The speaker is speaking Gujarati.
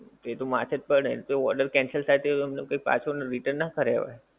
એ તો માથે જ પડે ને તો order cancel થાય તો તમને કોઈ પાછું return નાં કરીયાંવે.